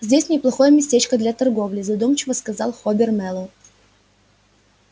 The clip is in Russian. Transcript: здесь неплохое местечко для торговли задумчиво сказал хобер мэллоу